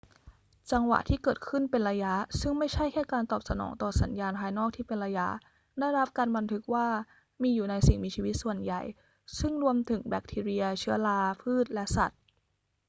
จังหวะที่เกิดขึ้นเป็นระยะ ซึ่งไม่ใช่แค่การตอบสนองต่อสัญญาณภายนอกที่เป็นระยะ ได้รับการบันทึกว่ามีอยู่ในสิ่งมีชีวิตส่วนใหญ่ ซึ่งรวมถึงแบคทีเรีย เชื้อรา พืช และสัตว์